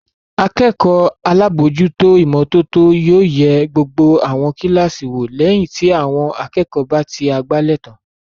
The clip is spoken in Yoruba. Akẹ́kọ̀ọ́ alábòójútó ìmọ́tótó yóò yẹ gbogbo àwọn kíláàsì wò lẹ́yìn tí àwọn akẹ́kọ̀ọ́ bá ti àgbálẹ̀ tán.